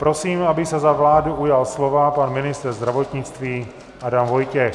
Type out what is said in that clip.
Prosím, aby se za vládu ujal slova pan ministr zdravotnictví Adam Vojtěch.